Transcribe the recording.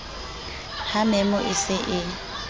ha memo e se e